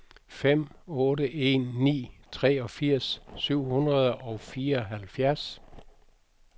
fem otte en ni treogfirs syv hundrede og fireoghalvfjerds